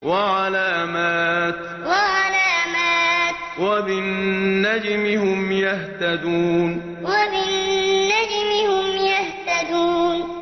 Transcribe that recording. وَعَلَامَاتٍ ۚ وَبِالنَّجْمِ هُمْ يَهْتَدُونَ وَعَلَامَاتٍ ۚ وَبِالنَّجْمِ هُمْ يَهْتَدُونَ